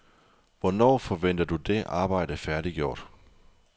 Hvornår forventer du det arbejde færdiggjort?